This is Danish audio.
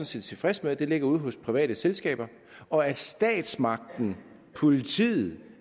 set tilfreds med at det ligger ude hos private selskaber og at statsmagten politiet